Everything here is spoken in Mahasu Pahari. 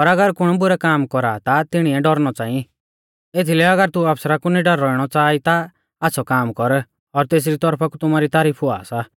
पर अगर कुण बुरै कामा कौरा आ ता तिणीऐ डौरनौ च़ांई एथीलै अगर तू आफसरा कु निडर रौइणौ च़ाहा ई ता आच़्छ़ौ काम कर और तेसरी तौरफा कु तुमारी तारीफ हुआ सा